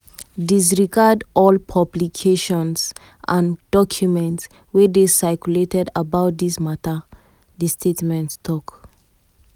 disregard all publications and documents wey dey circulated about dis mata” di statement tok.